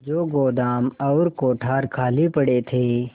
जो गोदाम और कोठार खाली पड़े थे